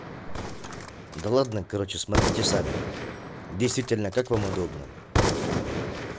да ладно короче смотрите сами действительно как вам удобно